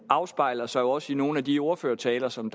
afspejler sig også i nogle af de ordførertaler som